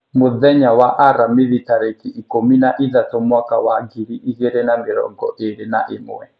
mũthenya wa aramithi tarĩki ikũmi na ithatũ mwaka wa ngiri igĩrĩ na mĩrongo ĩrĩ na ĩmwe,